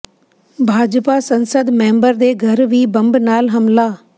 ਭਾਜਪਾ ਸੰਸਦ ਮੈਂਬਰ ਦੇ ਘਰ ਵੀ ਬੰਬ ਨਾਲ ਹਮਲਾ